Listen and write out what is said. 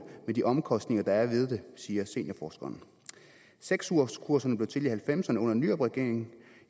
med de omkostninger der er ved det siger seniorforskeren seks ugerskurserne blev til i nitten halvfemserne under nyrupregeringen